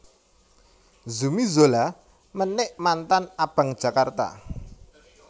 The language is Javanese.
Zumi Zola menik mantan Abang Jakarta